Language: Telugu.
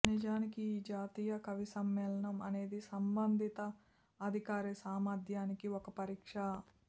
నిజానికి ఈ జాతీయ కవిసమ్మేళనం అనేది సంబంధిత అధికారి సామర్థ్యానికి ఒక పరీక్ష